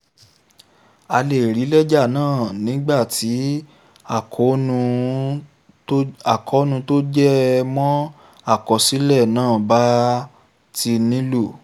a lè rí lẹ́jà náà nígbà tí àkóónú tó jẹ mọ́ àkọsílẹ̀ náà bá ti nílò